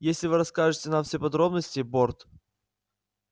если вы расскажете нам все подробности борт